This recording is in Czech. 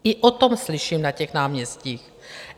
I o tom slyším na těch náměstích.